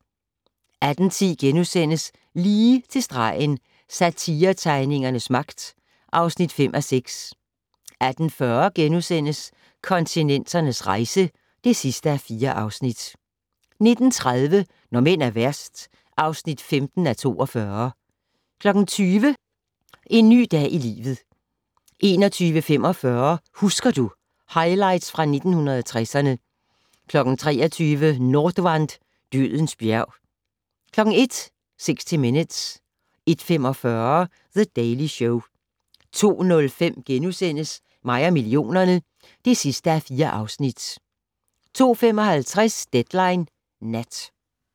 18:10: Lige til stregen - Satiretegningernes magt (5:6)* 18:40: Kontinenternes rejse (4:4)* 19:30: Når mænd er værst (15:42) 20:00: En ny dag i livet 21:45: Husker du - Highlights fra 1960'erne 23:00: Nordwand - dødens bjerg 01:00: 60 Minutes 01:45: The Daily Show 02:05: Mig og millionerne (4:4)* 02:55: Deadline Nat